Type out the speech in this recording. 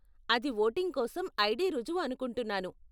అది వోటింగ్ కోసం ఐడీ రుజువు అనుకుంటున్నాను.